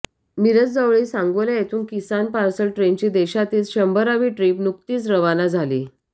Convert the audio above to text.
मिरजजवळील सांगोला येथून किसान पार्सल ट्रेनची देशातील शंभरावी ट्रीप नुकतीच रवाना झाली